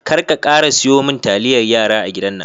kar ka kara siyumin taliyar yara a gidan nan.